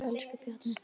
Elsku Bjarni Þór.